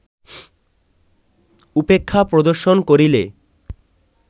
উপেক্ষা প্রদর্শন করিলে